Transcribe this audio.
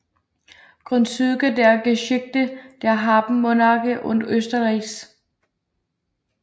Grundzüge der Geschichte der Habsburgermonarchie und Österreichs